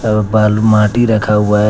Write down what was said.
बालू माटी रखा हुआ है।